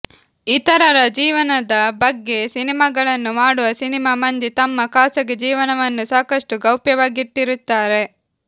ಇತರರ ಜೀವನದ ಬಗ್ಗೆ ಸಿನಿಮಾಗಳನ್ನು ಮಾಡುವ ಸಿನಿಮಾ ಮಂದಿ ತಮ್ಮ ಖಾಸಗಿ ಜೀವನವನ್ನು ಸಾಕಷ್ಟು ಗೌಪ್ಯವಾಗಿಟ್ಟಿರುತ್ತಾರೆ